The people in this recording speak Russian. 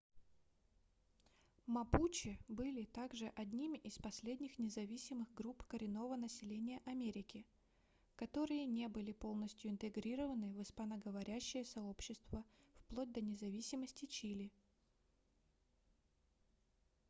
мапуче были также одними из последних независимых групп коренного населения америки которые не были полностью интегрированы в испаноговорящее сообщество вплоть до независимости чили